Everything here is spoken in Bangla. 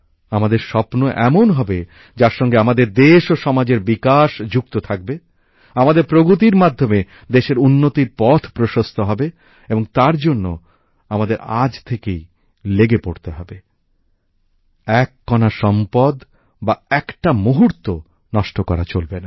আমাদের স্বপ্ন এমন হবে যার সঙ্গে আমাদের দেশ ও সমাজের বিকাশ যুক্ত থাকবে আমাদের প্রগতির মাধ্যমে দেশের উন্নতির পথ প্রশস্ত হবে এবং তার জন্য আমাদের আজ থেকেই লেগে পড়তে হবে এক কণা সম্পদ বা একটা মুহূর্ত নষ্ট করা চলবে না